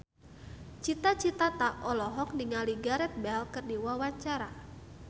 Cita Citata olohok ningali Gareth Bale keur diwawancara